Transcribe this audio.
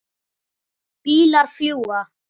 Bílar fljúga.